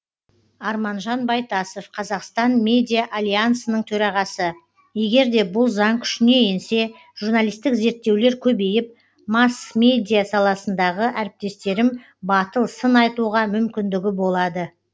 арманжан байтасов қазақстан медиа альянсының төрағасы егер де бұл заң күшіне енсе журналистік зерттеулер көбейіп масс медиа саласындағы әріптестерім батыл сын айтуға мүмкіндігі болады